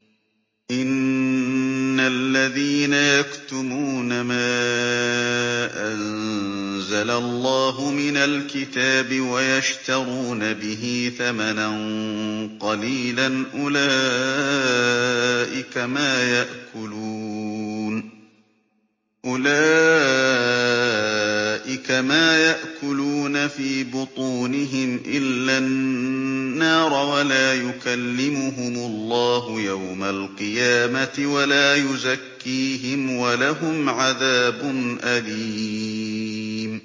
إِنَّ الَّذِينَ يَكْتُمُونَ مَا أَنزَلَ اللَّهُ مِنَ الْكِتَابِ وَيَشْتَرُونَ بِهِ ثَمَنًا قَلِيلًا ۙ أُولَٰئِكَ مَا يَأْكُلُونَ فِي بُطُونِهِمْ إِلَّا النَّارَ وَلَا يُكَلِّمُهُمُ اللَّهُ يَوْمَ الْقِيَامَةِ وَلَا يُزَكِّيهِمْ وَلَهُمْ عَذَابٌ أَلِيمٌ